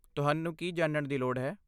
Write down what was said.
ਤੁਹਾਨੂੰ ਕੀ ਜਾਣਨ ਦੀ ਲੋੜ ਹੈ?